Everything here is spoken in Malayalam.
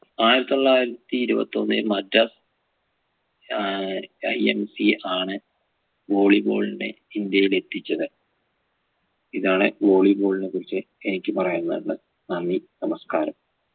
ആയിരത്തി തൊള്ളായിരത്തി ഇരുപത്തൊന്ന് മദ്രാസ് ഏർ IMC ആണ് volley ball നെ ഇന്ത്യയിൽ എത്തിച്ചത് ഇതാണ് volley ball നെ കുറിച്ച് എനിക്ക് പറയാൻവന്നെ നന്ദി നമസ്കാരം